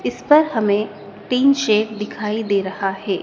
इस पर हमें टीन शेड दिखाई दे रहा है।